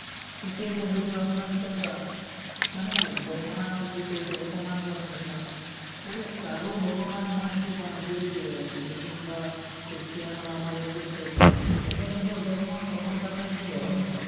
পিকে movie তো আপোনাৰ কেনেকুৱা মানে ভগৱানক কৰিছে অপমান কৰাৰ নিচিনা মানে কাৰো ভগৱান মই এইটো কোৱা নাই যে এই ক মুছলিম বা খ্ৰীষ্টিয়ান বা আমাৰ হিন্দুৰ শ্ৰেষ্ট নিজৰ নিজৰ ধৰ্ম চবৰ কাৰণে প্ৰিয় হয় নে নাই